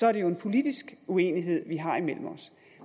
er det jo en politisk uenighed vi har imellem os